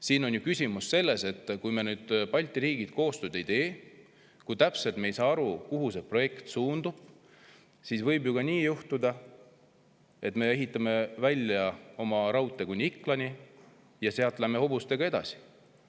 Siin on küsimus selles, et kui Balti riigid koostööd ei tee, kui me ei saa täpselt aru, kuhu see projekt suundub, siis võib ju juhtuda ka nii, et me ehitame välja oma raudtee kuni Iklani ja sealt läheme hobustega edasi.